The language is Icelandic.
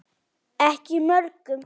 Ekki mörgum.